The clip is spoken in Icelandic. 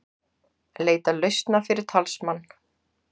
Leita lausna fyrir talsmann